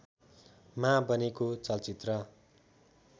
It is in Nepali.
मा बनेको चलचित्र